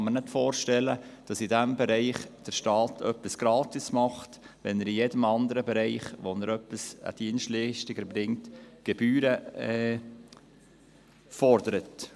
Ich kann mir nicht vorstellen, dass der Staat in diesem Bereich etwas unentgeltlich erledigt, wenn er in jedem anderen Bereich, wo er eine Dienstleistung erbringt, Gebühren fordert.